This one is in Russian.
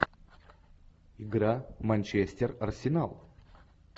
игра манчестер арсенал